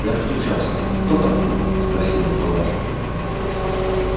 я постучался кто там спросила палаша